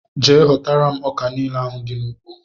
Jee hotara mụ ọkà niile ahụ dị na ụgbọ!!!!